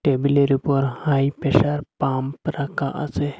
টেবিলে র উপর হাই প্রেসার পাম্প রাখা আসে।